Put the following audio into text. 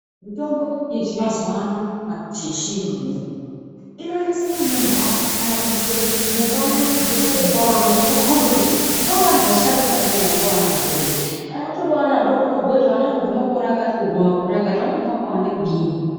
Mitombo yamazuva ano kana kuti yechiyungu inoiyi inonase kunyorwa kana kuiswe mufananidzo pamberi vevana kuti ukombe kuti ngevevantu vasharuka ere kana kuti ngeveana vadodori. Kana utori vevana vadoko unokombe kuti vana vanobva pamakore akati kusvike pamakore kati vanomwe vakawande kudini.